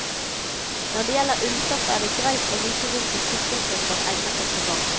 Når det gjelder ullstoff er det greit å vite hvilke tykkelser som egner seg til hva.